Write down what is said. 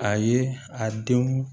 A ye a denw